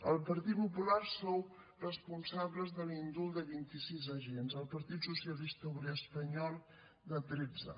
el partit popular sou responsables de l’indult de vint i sis agents el partit socialista obrer espanyol de tretze